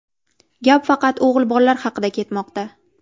Gap faqat o‘g‘il bolalar haqida ketmoqda.